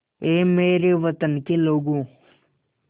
ऐ मेरे वतन के लोगों